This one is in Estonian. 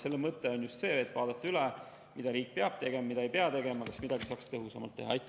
Nende mõte on just vaadata üle, mida riik peab tegema, mida ei pea tegema ja kas midagi saaks teha tõhusamalt.